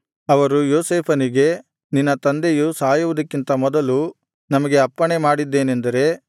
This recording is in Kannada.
ಅವರು ಯೋಸೇಫನಿಗೆ ನಿನ್ನ ತಂದೆಯು ಸಾಯುವುದಕ್ಕಿಂತ ಮೊದಲು ನಮಗೆ ಅಪ್ಪಣೆ ಮಾಡಿದ್ದೇನೆಂದರೆ